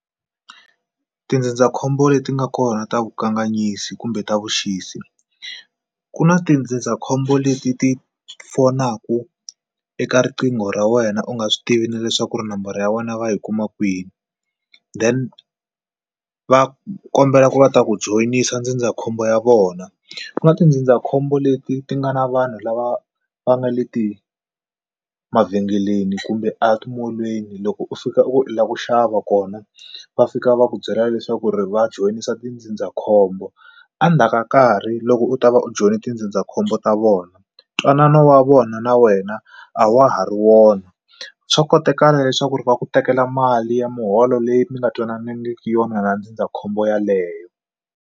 Tindzindzakhombo leti nga kona ta vukanganyisi kumbe ta vuxisi ku na tindzindzakhombo leti ti fonaku eka riqingho ra wena u nga swi tivi na leswaku ri nambara ya wena va yi kuma kwini then va kombela ku va ta ku joyinisiwa ndzindzakhombo ya vona ku nga tindzindzakhombo leti ti nga na vanhu lava va nga le ti mavhengeleni kumbe a timolweni loko u fika u lava ku xava kona va fika va ku byela leswaku ri va joyinisa tindzindzakhombo endzhaku ka nkarhi loko u ta va u join tindzindzakhombo ta vona ntwanano wa vona na wena a wa ha ri wona swa kotakala leswaku ri va ku tekela mali ya muholo leyi mi nga twananangi yona na ndzindzakhombo yaleyo.